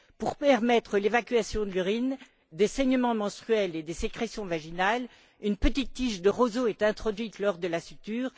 Pour permettre l'évacuation de l'urine, des saignements menstruels et des sécrétions vaginales, une petite tige de roseau est introduite lors de la suture.